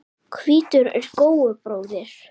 Hvítur er góu bróðir.